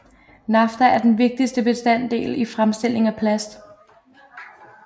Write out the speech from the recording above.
Nafta er den vigtigste bestanddel i fremstilling af plast